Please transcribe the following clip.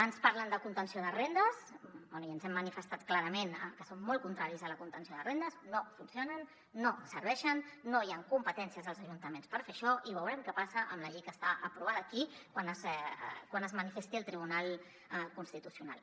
ens parlen de contenció de rendes bé ja hem manifestat clarament que som molt contraris a la contenció de rendes no funcionen no serveixen no hi han competències als ajuntaments per fer això i veurem què passa amb la llei que està aprovada aquí quan es manifesti el tribunal constitucional